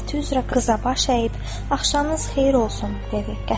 Adəti üzrə qıza baş əyib: “Axşamınız xeyir olsun!” dedi.